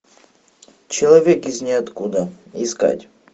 человек из ниоткуда искать